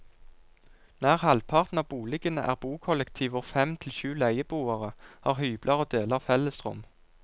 Nær halvparten av boligene er bokollektiv hvor fem til syv leieboere har hybler og deler fellesrom.